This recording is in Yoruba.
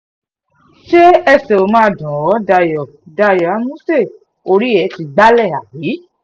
ṣé ẹsẹ̀ ó máa dùn ẹ́ dayo dayo àmuṣe orí ẹ ti gbalẹ̀ àbí